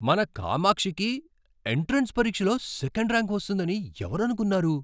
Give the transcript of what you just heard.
మన కామాక్షికి ఎంట్రన్స్ పరీక్షలో సెకండ్ ర్యాంక్ వస్తుందని ఎవరనుకున్నారు?